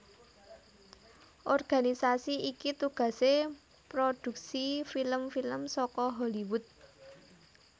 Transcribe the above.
Organisasi iki tugasé mproduksi film film saka Hollywood